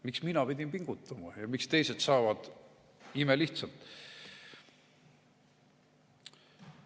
Miks nemad pidid pingutama ja miks teised saavad imelihtsalt?